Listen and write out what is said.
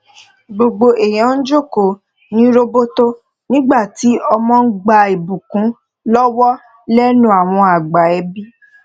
gbogbo èèyàn jókòó ní roboto nígbà tí ọmọ ń gba ìbùkún lọwọ lẹnu àwọn àgbà ẹbí